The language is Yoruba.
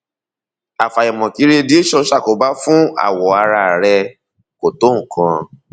àfàìmọ kí radiation ṣàkóbá fún awọ ara rẹ kò tó nǹkan